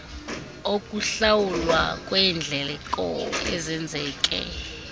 okuhlawulwa kweendleko ezenzeke